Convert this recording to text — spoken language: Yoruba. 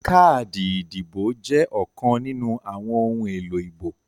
Káàdì ìdìbò jẹ́ ọ̀kan nínú àwọn ohun èlò ìbò